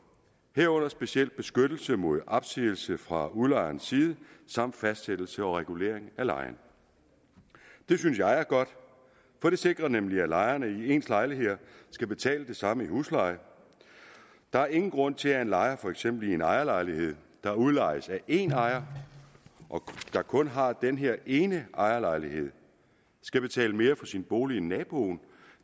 herunder specielt beskyttelse mod opsigelse fra udlejerens side samt fastsættelse og regulering af lejen det synes jeg er godt for det sikrer nemlig at lejerne i ens lejligheder skal betale det samme i husleje der er ingen grund til at en lejer i for eksempel en ejerlejlighed der udlejes af en ejer der kun har den her ene ejerlejlighed skal betale mere for sin bolig end naboen